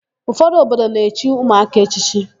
Ụfọdụ obodo na-echi ụmụaka echichi.